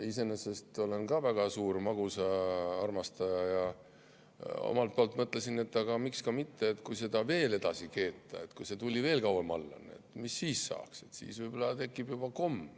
Ise olen ka väga suur magusaarmastaja ja mõtlesin, et aga miks ka mitte, kui seda veel edasi keeta, kui see tuli veel kauem all on, mis siis saab, siis võib-olla tekib juba komm.